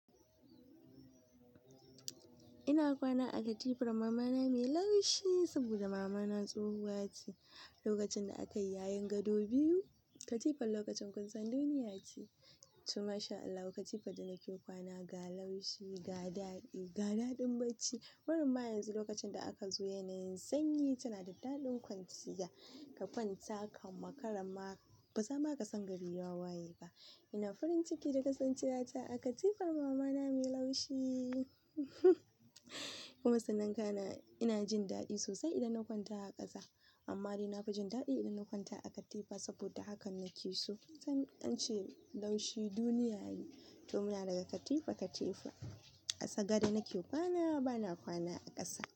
Ina kwana a katifar mama na mai laushi saboda mama na tsohuwa ce. Lokacin da akayi yayin gado biyu, katifar lokacin kunsan duniya ce. To mashAllah katifar da nake kwana ga laushi, ga daɗi, ga daɗin bacci. Barema yanzu lokacin da aka zo yanayin sanyi tana da daɗin kwanciya. Ka kwanta ka makarama ba zama ka san gari wawaye ba. Ina farin ciki da kasancewata a katifar mama na mai laushi. Kuma sanan ina jin daɗi sosai idan na kwanta a ƙasa. Amma dai na fi jin daɗi idan na kwanta a katifa saboda hakan nake so. An ce laushi duniya ne, tumuya daga katifa katifa. A sagada nake kwana ba na kwana a ƙasa.